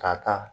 Ka taa